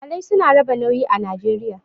Iyalai su na raba nauyi a Najeriya.